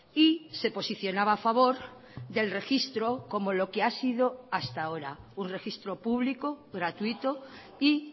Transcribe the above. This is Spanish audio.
y se posicionaba a favor del registro como lo que ha sido hasta ahora un registro público gratuito y